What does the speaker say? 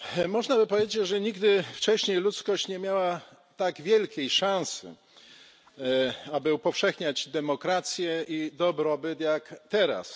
Można by powiedzieć, że nigdy wcześniej ludzkość nie miała tak wielkiej szansy, aby upowszechniać demokrację i dobrobyt, jak teraz.